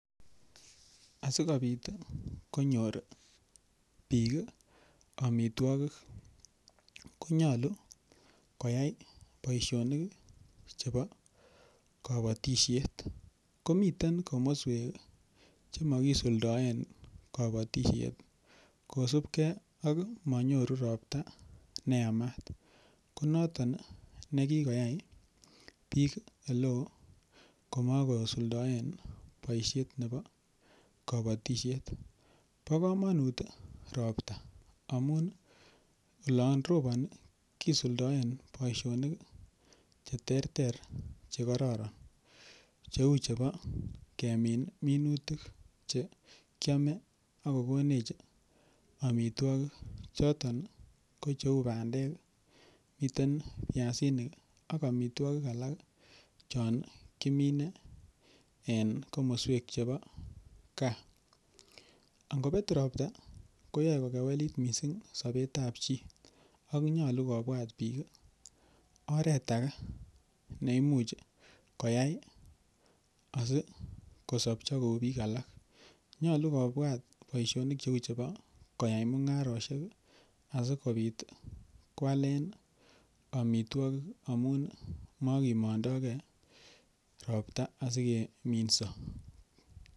Asikobit konyor biik amitwogik konyolu koyai boisionik chebo kobotisiet. Komiten komoswek che mokisuldaen kobotisiet. Kosubge ak monyoru ropta ne yamat . Ko noton ne kigoyai biik ole o komakosuldaen boisiet nebo kobotisiet. Bo komonut ropta amun olon roponi kisuldaen boisionik che terter che kororon cheu chebo kemin minutik che kyome ak kogonech amitwogik choton kocheu bandek, miten biasinik ak amitwogik alak chon kimine en komosek chebo gaa. Ango bet ropta koyai kokewelit mising sobet ab chi ak nyolu kobwat biik oret age neimuch koyai asikosopcho kou biik alak. Nyolu kobwat bosionik cheu koyai mung'arosiek asikobit koalen amitwogik amun mogimondo ge ropta asikeminso.